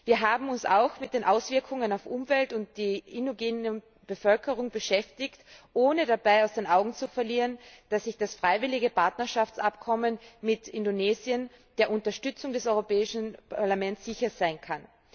Wir haben uns auch mit den Auswirkungen auf die Umwelt und die indigene Bevölkerung beschäftigt, ohne dabei aus den Augen zu verlieren, dass sich das freiwillige Partnerschaftsabkommen mit Indonesien der Unterstützung des Europäischen Parlaments sicher sein kann.